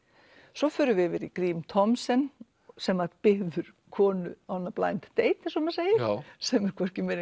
svo förum við yfir í Grím Thomsen sem var byggður konu on a blind date eins og maður segir sem er